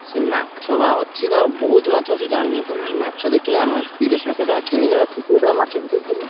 ସେ ମାଛ ବା ଅଛି ତାଙ୍କର ବହୁତ ମାଛ ଅଛି ଜାଣିନ ତମେ ମାଛ ଦେଖିଲେ ଆମେ ତିରିଶି ଲକ୍ଷ ଟଙ୍କା କିଣିଲେ ବା କୋଟିଏ ଟଙ୍କା ମାଛ ବିକ୍ରି କରିଆ।